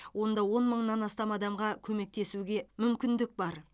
онда он мыңнан астам адамға көмектесуге мүмкіндік бар